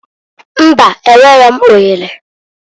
Mbaǃ Enwero m ohere.